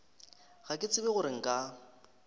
ga ke tsebe gore nka